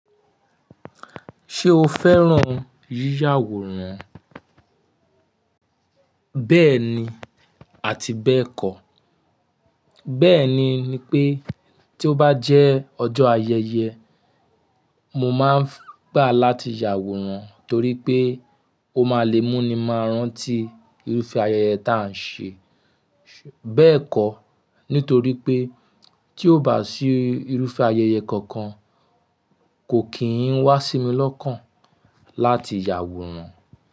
Ṣé o fẹ́ràn yíyàwòran? Bẹ́ẹ̀ni àti bẹ́ẹ̀kọ́. Bẹ́ẹ̀ni ní pé tí ó bá jẹ́ ọjọ́ ayẹyẹ, mo máa ń gbà láti ya àwòrán torípé ó ma lè mú ni máa rántí irúfẹ́ ayẹyẹ tá ń ṣe. Bẹ́ẹ̀kọ́, nítorí pé tí ó bá sì irúfẹ́ ayẹyẹ kankan, kò kì í wá sí mi lọ́kàn láti yàwòrán.